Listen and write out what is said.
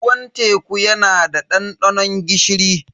Ruwan teku yana da dandanon gishiri.